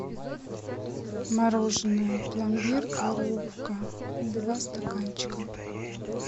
мороженое пломбир коровка два стаканчика